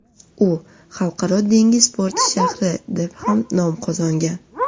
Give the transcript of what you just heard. U xalqaro dengiz porti shahri, deb ham nom qozongan.